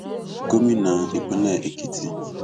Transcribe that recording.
gómìnà ìpínlẹ èkìtì